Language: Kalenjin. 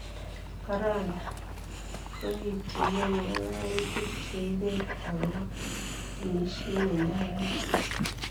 Corona:Korituyen ngololutiib cheibet agobo omisiiet nenyolunot.